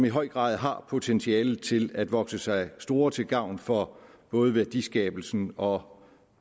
i høj grad har potentialet til at vokse sig store til gavn for både værdiskabelsen og